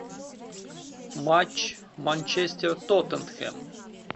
матч манчестер тоттенхэм